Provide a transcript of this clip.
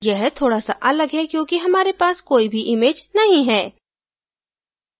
यह थोडा सा अलग है क्योंकि हमारे पास कोई भी इमैज नहीं है